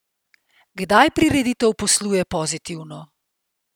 Kdaj prireditev posluje pozitivno?